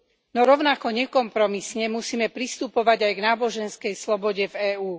No rovnako nekompromisne musíme pristupovať aj k náboženskej slobode v EÚ.